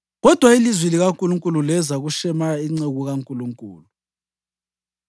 Kodwa ilizwi likaNkulunkulu leza kuShemaya inceku kaNkulunkulu.